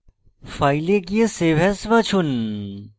file এ গিয়ে save as বাছুন